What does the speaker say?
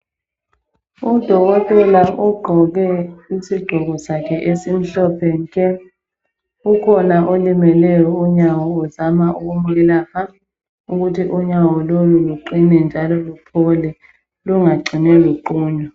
Udokotela ogqoke isigqoko sakhe esimhlophe nke, kukhona olimeleyo unyawo uzama ukumelapha ukuthi unyawo lolu luqine njalo luphole lungacini luqunywa.